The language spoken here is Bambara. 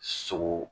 Sogo